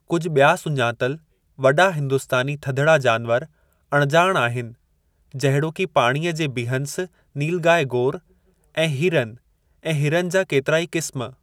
कुझु ॿिया सुञातलि वॾा हिंदुस्तानी थधिड़ा जानवरु अणॼाण आहिनि जहिड़ोकि पाणीअ जे बिहँस नीलगाई गोर ऐं हीरनि ऐं हिरनि जा केतिराई क़िस्मु।